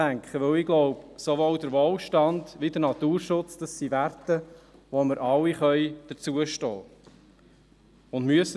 Denn ich glaube, sowohl der Wohlstand als auch der Naturschutz sind Werte, zu denen wir alle stehen können und müssen.